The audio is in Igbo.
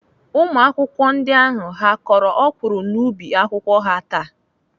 Ụmụakwụkwọ ndị ahụ ha kọrọ ọkwụrụ n'ubi akwụkwọ ha taa?